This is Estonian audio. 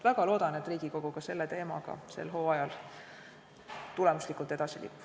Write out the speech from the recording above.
Väga loodan, et Riigikogu ka selle teemaga sel hooajal tulemuslikult edasi liigub.